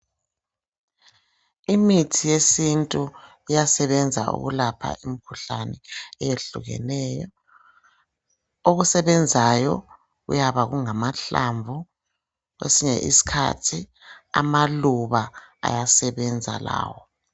Imithi yesintu iyasebenza ukulapha imikhuhlane eyehlukeneyo. Okusebenzayo kuyaba kungamahlamvu kwesinye iskhathi amaluba ayasebenza lawo.